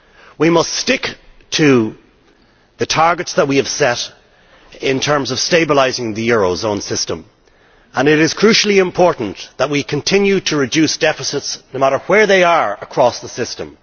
We must stick to the targets we have set in terms of stabilising the eurozone system, and it is crucially important that we continue to reduce deficits no matter where they are across the system.